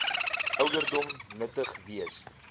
ouderdom nuttig wees